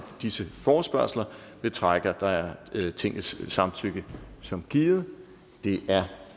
disse forespørgsler betragter jeg tingets samtykke som givet det er